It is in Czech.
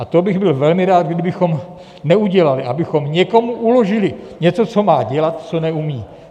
A to bych byl velmi rád, kdybychom neudělali - abychom někomu uložili něco, co má dělat, co neumí.